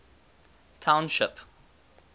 township